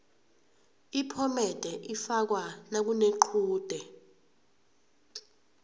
iphomede ifakwa nakunequde